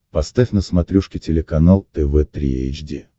поставь на смотрешке телеканал тв три эйч ди